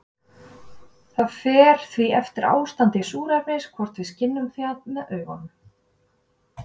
Það fer því eftir ástandi súrefnis hvort við skynjum það með augunum.